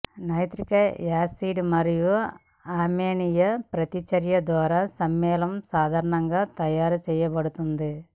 nitric acid మరియు ammonia ప్రతిచర్య ద్వారా సమ్మేళనం సాధారణంగా తయారుచేయబడుతుంది